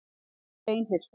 Hún var steinhissa.